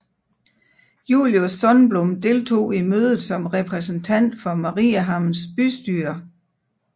Julius Sundblom deltog i mødet som repræsentant for Mariehamns bystyre